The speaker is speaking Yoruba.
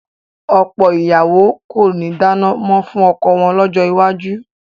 Ọ̀pọ̀ ìyàwó kò ní dáná mọ́ fún ọkọ wọn lọ́jọ́ iwájú